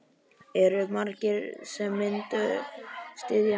Eru margir sem myndu styðja mig?